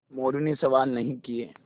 मोरू ने सवाल नहीं किये